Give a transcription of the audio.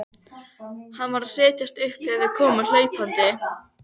Hann var að setjast upp þegar þau komu hlaupandi.